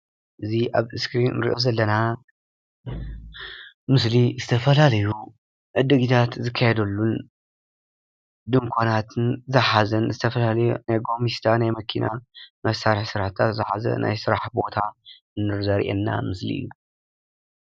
እዚ ኣብ እስክሪን እንሪኦ ዘለና ምስሊ ዝተፈላለዩ ዕዲግታት ዝካየደሉን ድኳናትን ዝሓዘን ዝተፈላለዩ ናይ ጎሚስታ ናይ መኪና መሳርሒ ስራሕታት ዝሓዘ ናይ ስራሕ ቦታ ዘርኤና ምስሊ እዩ።